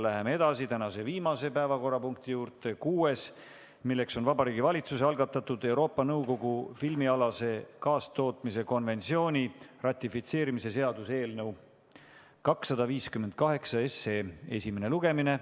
Läheme edasi tänase viimase, kuuenda päevakorrapunkti juurde, milleks on Vabariigi Valitsuse algatatud Euroopa Nõukogu filmialase kaastootmise konventsiooni ratifitseerimise seaduse eelnõu 258 esimene lugemine.